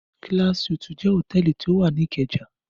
Class Suites jẹ́ hòtẹ́ẹ́lì tí ó wà ní Ìkẹjà.